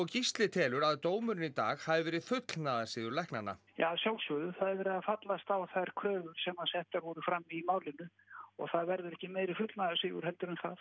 Gísli telur að dómurinn í dag hafi verið fullnaðarsigur læknanna að sjálfsögðu það er verið að fallast á þær kröfur sem settar voru fram í málinu og það verður ekki meiri fullnaðarsigur en það